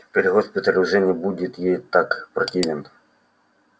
теперь госпиталь уже не будет ей так противен